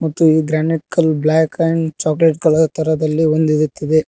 ಮತ್ತು ಈ ಗ್ರ್ಯಾನೆಟ ಕಲ್ಲ ಬ್ಲಾಕ್ ಅಂಡ್ ಚಾಕಲೇಟ್ ಕಲರ್ ತರದಲ್ಲಿ ಒಂದಿರುತ್ತದೆ.